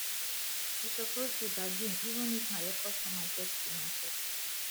you suppose dey bargain even if na your customer get di market